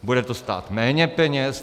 Bude to stát méně peněz?